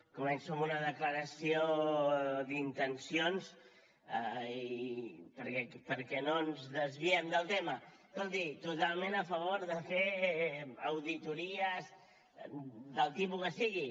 començo amb una declaració d’intencions perquè no ens desviem del tema escolti totalment a favor de fer auditories del tipus que sigui